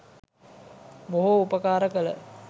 බොහෝ උපකාර කළ